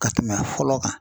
Ka tɛmɛ fɔlɔ kan.